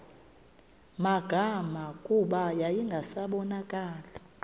magama kuba yayingasabonakali